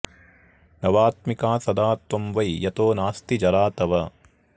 नवात्मिका सदा त्वं वै यतो नास्ति जरा तव